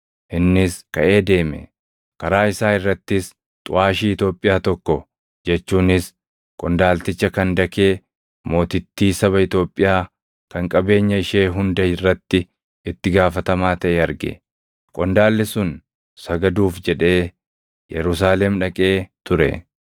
Innis kaʼee deeme; karaa isaa irrattis xuʼaashii Itoophiyaa tokko jechuunis qondaalticha Kandakee mootittii saba Itoophiyaa kan qabeenya ishee hunda irratti itti gaafatamaa taʼe arge; qondaalli sun sagaduuf jedhee Yerusaalem dhaqee ture.